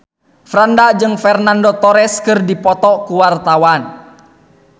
Franda jeung Fernando Torres keur dipoto ku wartawan